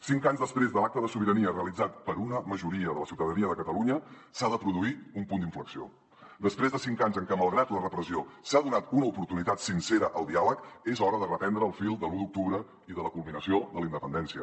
cinc anys després de l’acte de sobirania realitzat per una majoria de la ciutadania de catalunya s’ha de produir un punt d’inflexió després de cinc anys en què malgrat la repressió s’ha donat una oportunitat sincera al diàleg és hora de reprendre el fil de l’u d’octubre i de la culminació de la independència